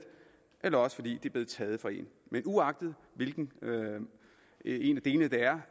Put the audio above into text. eller også fordi det er blevet taget fra en men uagtet hvilken en af delene det er